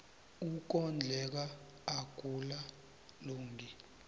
ukondleka akula lungi